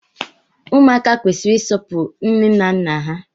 Ụmụaka kwesịrị isọpuru nne na nna ha